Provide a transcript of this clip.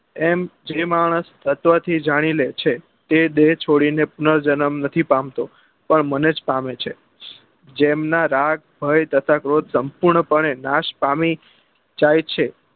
એમ જે માનસ તત્વ થી જાની લે છે તે દેહ છોડી ને પુનર જન્મ પામતો પણ મન જ પામે છે જેમના રાગ ભય તથા ક્રોધ સંપૂર્ણ પને નાશ પામી જાય છે